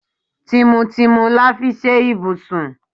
Tìmùtìmù la fi ṣe ibùsùn.